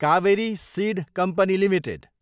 Kaveri seed company Ltd